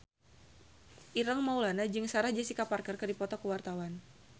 Ireng Maulana jeung Sarah Jessica Parker keur dipoto ku wartawan